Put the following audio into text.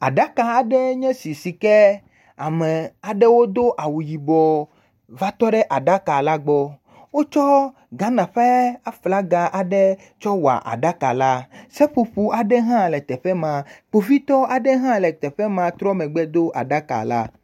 Aɖaka aɖe nye si sike ame aɖewo do awu yibɔ va tɔ ɖe aɖaka la gbɔ, wotsɔ Ghana ƒe aflaga aɖe tsɔ wɔ aɖaka la, seƒoƒowo aɖe hã le teƒe ma, kpovitɔ aɖewo hã le teƒe ma trɔ megbe do aɖaka la.